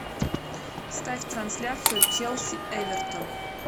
ставь трансляцию челси эвертон